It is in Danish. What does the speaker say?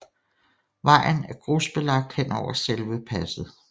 Vejen er grusbelagt henover selve passet